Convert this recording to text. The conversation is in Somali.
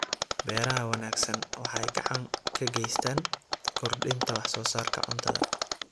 Beeraha wanaagsani waxay gacan ka geystaan ??kordhinta wax soo saarka cuntada.